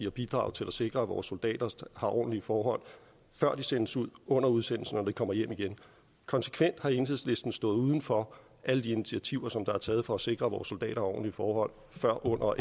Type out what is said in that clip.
at bidrage til at sikre at vores soldater har ordentlige forhold før de sendes ud under udsendelsen og når kommer hjem igen konsekvent har enhedslisten stået uden for alle de initiativer som er taget for at sikre vores soldater ordentlige forhold før under